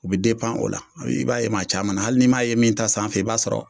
U bi o la, i b'a ye maa caman na hali n''i m'a ye min ta sanfɛ i b'a sɔrɔ